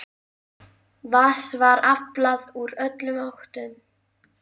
Vatns var aflað úr öllum áttum.